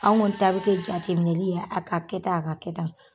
Anw ŋɔni ta be kɛ jateminɛli ye a ka kɛ tan, a ka kɛ tan.